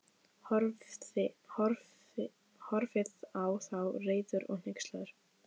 Horfði á þá, reiður og hneykslaður.